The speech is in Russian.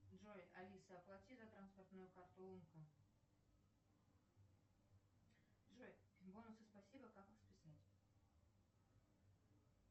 джой алиса оплати за транспортную карту умка джой бонусы спасибо как их списать